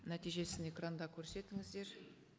нәтижесін экранда көрсетіңіздер